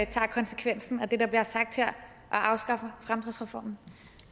tager konsekvensen af det der bliver sagt her og afskaffer fremdriftsreformen